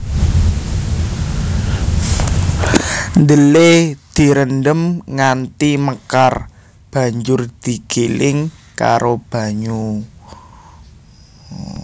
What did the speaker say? Dhelè direndhem nganti mekar banjur digiling karo banyu